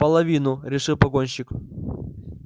половину решил погонщик